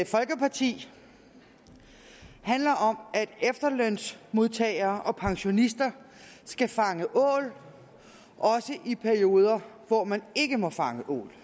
folkeparti handler om at efterlønsmodtagere og pensionister skal fange ål også i perioder hvor man ikke må fange ål